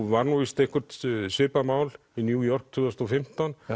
var nú víst eitthvert svipað mál í New York tvö þúsund og fimmtán